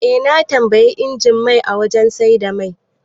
Eh, na tambayi injin mai a wajan saida mai